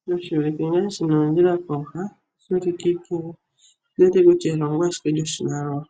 Sho tashi ulike shina oondjila kooha. Ondi wete kutya elongo ashike lyoshimaliwa.